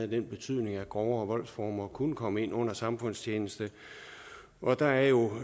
den betydning at grovere voldsformer kunne komme ind under samfundstjeneste og der er jo